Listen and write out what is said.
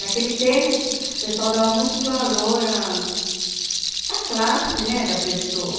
Naquele tempo, o pessoal dava muito valor ah à classe né da pessoa.